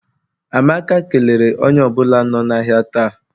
Amaka kelere onye ọ bụla nọ n'ahịa taa.